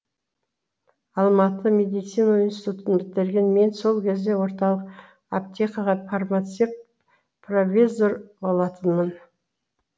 алматы медицина институтын бітірген мен сол кезде орталық аптекаға фармацевт провизор болатынмын